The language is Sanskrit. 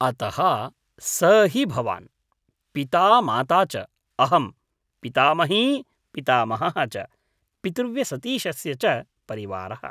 अतः स हि भवान्, पिता माता च, अहम्, पितामही पितामहः च, पितृव्यसतीशस्य च परिवारः।